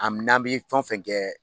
A n'an bi fɛn fɛn kɛ